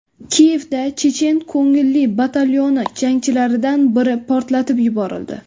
Kiyevda chechen ko‘ngilli batalyoni jangchilaridan biri portlatib yuborildi.